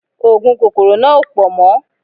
Oògùn kòkòrò náà ò pọ̀ mọ́